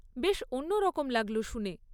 বেশ অন্যরকম লাগল শুনে।